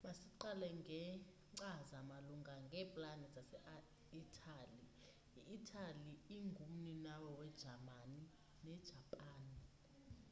masiqale ngekcaza malunga neeplani zase italy i italy yaye ingu mninawa we jamani ne japan